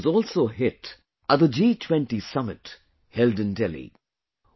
The coffee was also a hit at the G 20 summit held in Delhi